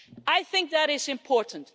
I think that is important.